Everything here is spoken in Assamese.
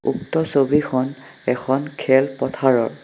উক্ত ছবিখন এখন খেল পথাৰৰ।